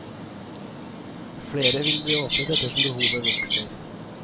Flere vil bli åpnet etter som behovet vokser.